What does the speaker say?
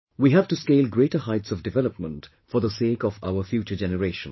We have to scale greater heights of development for the sake of our future generations